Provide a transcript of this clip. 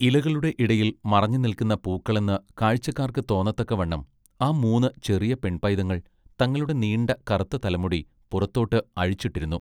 ഇലകളുടെ ഇടയിൽ മറഞ്ഞു നില്ക്കുന്ന പൂക്കളെന്ന് കാഴ്ചക്കാർക്ക് തോന്നത്തക്കവണ്ണം ആ മൂന്ന് ചെറിയ പെൺ പൈതങ്ങൾ തങ്ങളുടെ നീണ്ട കറത്ത തലമുടി പുറത്തോട്ട് അഴിച്ചിട്ടിരുന്നു.